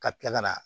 Ka tila ka na